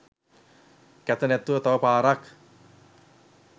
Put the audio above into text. කැත නැතිව තව පාරක්